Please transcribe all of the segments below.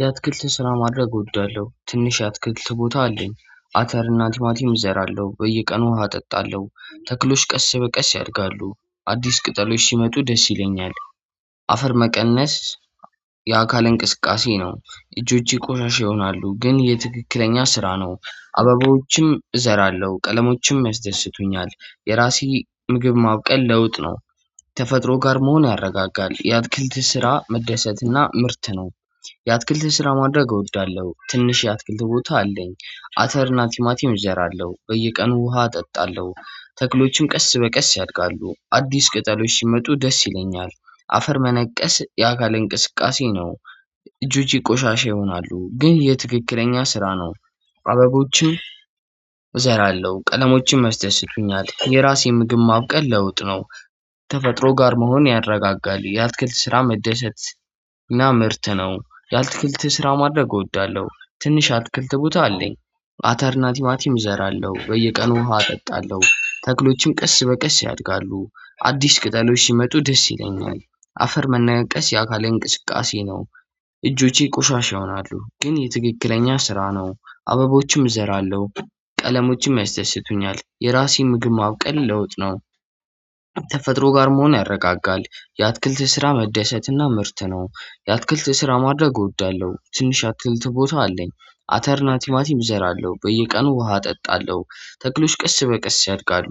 የአትክልት ስራ ማድረግ እወዳለሁ ትንሽ የአትክልት ቦታ አለኝ አተርና ትማቲም እዘራለሁ በየቀኑ ውሃ እጠጣለሁ ተክሎች ቀስ በቀስ ያድጋሉ አዲስ ቅጠሎች ሲመጡ ደስ ይለኛል። አፈር መቀነስ የአካል እንቅስቃሴ ነው እጆቼ ቆሻሻ ይሆናሉ ግን ይህ ትክክለኛ ስራ ነው። አባባዎችም እዘራለሁ ቀለሞችም ያስደስቱኛል የራሴ ምግብ ማብቀል ለውጥ ነው። ተፈጥሮ ጋር መሆን ያረጋጋል የአትክልት ስራ መደሰትና ምርት ነው። የአትክልት ስራ ማድረግ እወዳለሁ። ትንሽ የአትክልት ቦታ አለኝ አተርና ቲማቲም እዘራለሁ በየቀኑ ውሃ አጠጣለሁ ተክሎችን ቀስ በቀስ ያድጋሉ አዲስ ቅጠሎች ሲመጡ ደስ ይለኛል። አፈር መነቀስ የአካል እንቅስቃሴ ነው። እጆቼ ቆሻሻ ይሆናሉ ግን ይህ ትክክለኛ ስራ ነው። አበቦችን እዘራለሁ ቀለሞችን ያስደስቱኛል የራሴን ምግብ ማብቀል ለውጥ ነው። ተፈጥሮ ጋር መሆን ያረጋጋል የአትክልት ስራ መደሰት እና ምርት ነው። የአትክልት ስራ ማድረግ እወዳለሁ ትንሽ አትክልት ቦታ አለኝ። አተር እና ቲማቲም እዘራለሁ በየቀኑ ውሃ አጠጣለሁ ተክሎችን ቀስ በቀስ ያድጋሉ አዲስ ቅጠሎች ሲመጡ ደስ ይለኛል። አፈር መነቀስ የአካል እንቅስቃሴ ነው። እጆቼ ቆሻሻ ይሆናሉ ግን ይህ ትክክለኛ ስራ ነው አበቦችም እዘራለሁ። ቀለሞችም ያስደስቱኛል የራሴ ምግብ ማብቀል ለውጥ ነው። ተፈጥሮ ጋር መሆን ያረጋጋል የአትክልት ስራ መደሰትና ምርት ነው። የአትክልት ስራ ማድረግ እወዳለሁ ትንሽ አትልት ቦታ አለኝ። አተር ና ቲማቲም እዘራለሁ በየቀኑ ውሃ እጠጣለሁ ተክሎሽ ቀስ በቀስ ያድጋሉ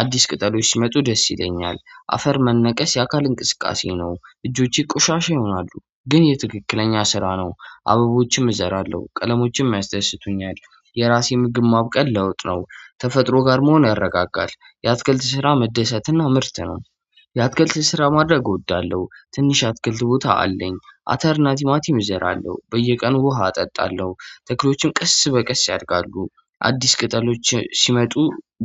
አዲስ ቅጠሎች ሲመጡ ደስ ይለኛል። አፈር መነቀስ የአካል እንቅስቃሴ ነው እጆቼ ቆሻሻ ይሆናሉ ግን ይህ ትክክለኛ ስራ ነው። አበቦችም እዘራለሁ ቀለሞችም ያስደስቱኛል የራሴን ምግብ ማብቀል ለውጥ ነው። ተፈጥሮ ጋር መሆን ያረጋጋል የአትክልት ስራ መደሰትና ምርት ነው። የአትክልት ስራ ማድረግ እወዳለሁ ትንሽ አትክልት ቦታ አለኝ አተር ና ቲማቲም እዘራለሁ በየቀኑ ውሃ አጠጣለሁ። ተክሎችም ቀስ በቀስ ያድጋሉ። አዲስ ቅጠሎች ሲመጡ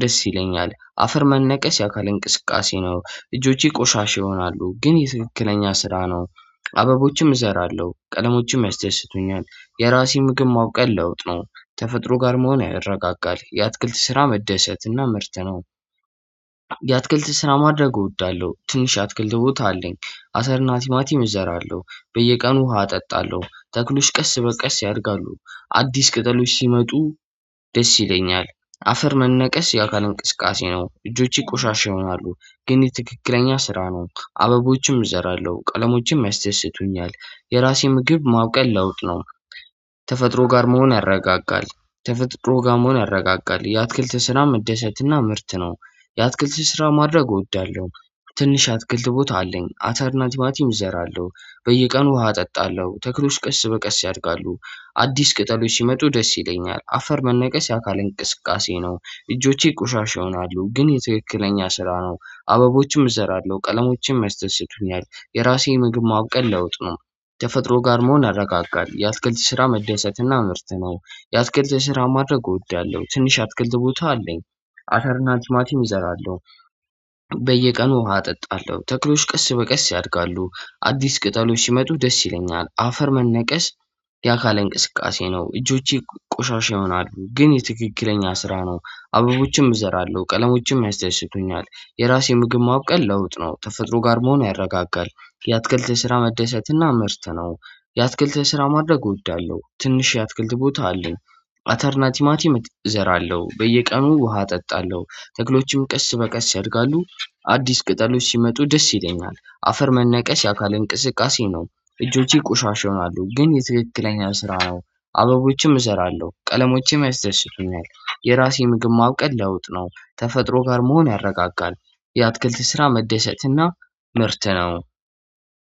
ደስ ይለኛል አፈር መነቀስ የአካል እንቅስቃሴ ነው እጆቼ ቆሻሻ ይሆናሉ ግን ይህ ትክክለኛ ስራ ነው። አበቦችም እዘራለሁ ቀለሞችም ያስተስቱኛል የራሴ ምግብ ማብቀል ለውጥ ነው ተፈጥሮ ጋር መሆን ያረጋጋል የአትክልት ስራ መደሰትና ምርት ነው። የአትክልት ስራ ማድረግ እወዳለሁ ትንሽ አትክልት ቦታ አለኝ። አተርና ቲማቲም እዘራለሁ በየቀኑ ውሃ አጠጣለሁ ተክሎች ቀስ በቀስ ያድጋሉ አዲስ ቅጠሎች ሲመጡ ደስ ይለኛል። አፈር መነቀስ የአካል እንቅስቃሴ ነው እጆቼ ቆሻሻ ይሆናሉ ግን ይህ ትክክለኛ ስራ ነው አበቦችም እዘራለሁ ቀለሞችም ያስደስቱኛል የራሴ ምግብ ማብቀል ለውጥ ነው። ተፈጥሮ ጋር መሆን ያረጋጋል ተፈጥሮ ጋር መሆን ያረጋጋል የአትክልት ስራ መደሰትና ምርት ነው። የአትክልት ስራ ማድረግ እወዳለሁ። ትንሽ አትክልት ቦታ አለኝ አተር ና ቲማቲም እዘራለሁ በየቀኑ ውሃ አጠጣለሁ ተክሎች ቀስ በቀስ ያድጋሉ። አዲስ ቅጠሎች ሲመጡ ደስ ይለኛል አፈር መነቀስ የአካል እንቅስቃሴ ነው እጆቼ ቆሻሻ ይሆናሉ ግን ይህ ትክክለኛ ስራ ነው አበቦችም እዘራለሁ ቀለሞቼም ያስደስቱኛል የራሴ ምግብ ማብቀል ለውጥ ነው። ተፈጥሮ ጋር መሆን ያረጋጋል የአትክልት ስራ መደሰትና ምርት ነው። የአትክልት ስራ ማድረግ እወዳለሁ ትንሽ ያአትክልት ቦታ አለኝ። አተርና ቲማቲም እዘራለሁ። በየቀኑ ውሃ አጠጣለሁ ተክሎች ቀስ በቀስ ያድጋሉ አዲስ ቅጠሎች ሲመጡ ደስ ይለኛል አፈር መነቀስ። የአካል እንቅስቃሴ ነው እጆቼ ቆሻሻ ይሆናሉ ግን ይህ ትክክለኛ ስራ ነው። አበቦችም እዘራለሁ ቀለሞችም ያስደስቱኛል የራሴ ምግብ ማብቀል ለውጥ ነው ተፈጥሮ ጋር መሆኑ ያረጋጋል የአትክልት ስራ መደሰትና ምርት ነው። የአትክልት ስራ ማድረግ እወዳለሁ ትንሽ የአትክልት ቦታ አለኝ። አተርናቲማቲም እዘራለሁ በየቀኑ ውሃ አጠጣለሁ ተክሎቹም ቀስ በቀስ ያድጋሉ። አዲስ ቅጠሎች ሲመጡ ደስ ይለኛል አፈር መነቀስ የአካል እንቅስቃሴ ነው። እጆቼ ቆሻሻ ይሆናሉ ግን ይህ ትክክለኛ ስራ ነው። አበቦችም እሰራለሁ ቀለሞቼም ያስደስቱኛል የራሴ ምግብ ማብቀል ለውጥ ነው ተፈጥሮ ጋር መሆን ያረጋጋል። የአትክልት ስራ መደሰትና ምርት ነው።